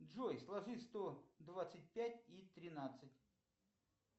джой сложи сто двадцать пять и тринадцать